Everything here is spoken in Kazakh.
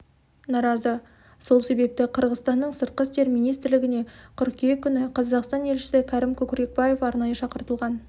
наразы сол себепті қырғызстанның сыртқы істер министрлігіне қыркүйек күні қазақстан елшісі кәрім көкрекбаев арнайы шақыртылған